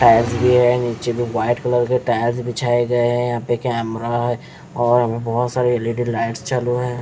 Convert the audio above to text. Tiles भी है नीचे भी वाइट कलर के टाइल्स बिछाए गए हैं यहां पे कैमरा है और बहुत सारे एलईडी लाइट चल रहे हैं।